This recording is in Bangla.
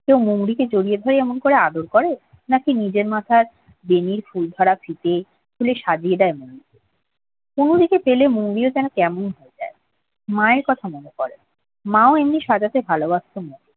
মৌরীকে জড়িয়ে ধরে এমন আদর করে? নাকি নিজের মাথার বেনির ফুল করা ফিতে দিয়ে সাজিয়ে দেয়। কুমুদিকে পেলে মৌরি ও যেন কেমন হয়ে যায় মায়ের কথা মনে পড়ে, মা ও এমনি সাজাতে ভালোবাসত মৌরীকে